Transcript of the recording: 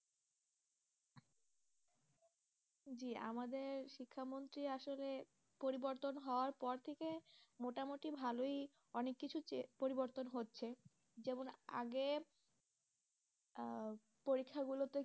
আমাদের শিক্ষা মন্ত্রী আসলে পরিবর্তন হওয়ার পর থেকে মোটামুটি ভালোই অনেক কিছু পরিবর্তন হচ্ছে, যেমন আগে আহ পরীক্ষাগুলোতে